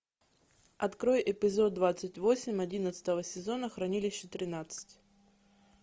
открой эпизод двадцать восемь одиннадцатого сезона хранилище тринадцать